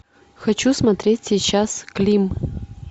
хочу смотреть сейчас клим